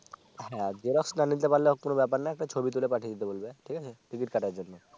হ্যাঁ Xerox না হতে পারলেও কোন ব্যাপার নেই একটা ছবি তুলে পাঠিয়ে দিতে বলবে ঠিক আছে Ticket কাটার জন্য